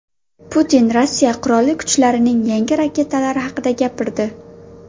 Putin Rossiya Qurolli kuchlarining yangi raketalari haqida gapirdi.